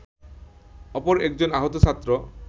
অপর একজন আহত ছাত্র